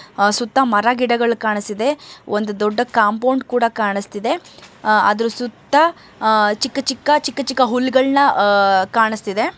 ಆ ಸುತ್ತ ಮರ ಗಿಡಗಳು ಕಾಣಸ್ತಿದೆ ಒಂದು ದೊಡ್ಡ ಕಾಂಪೌಂಡ್ ಕೂಡ ಕಾಣಸ್ತಿದೆ ಅದರ ಸುತ್ತ ಚಿಕ್ಕ ಚಿಕ್ಕ ಚಿಕ್ಕ ಚಿಕ್ಕ ಹುಲ್ಲಗಳನ್ನಅಹ್ ಕಾಣಸ್ತಿದೆ.